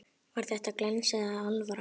Var þetta glens eða alvara?